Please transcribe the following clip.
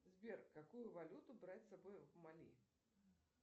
сбер какую валюту брать с собой в мали